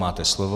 Máte slovo.